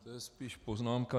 To je spíš poznámka.